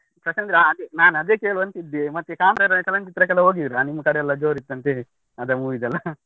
ಪ್ರಶಾಂತ್ರ ಹಾಗೆ ನಾನು ಅದೇ ಕೇಳ್ವ ಅಂತ ಇದ್ದೆ. ಮತ್ತೆ ಕಾಂತಾರ ಚಲನಚಿತ್ರಕ್ಕೆ ಹೋಗಿದ್ರಾ. ನಿಮ್ಮ ಕಡೆಯಲ್ಲ ಜೋರ್ ಇತ್ತಂತೆ. ಅದ್ movie ದೆಲ್ಲ?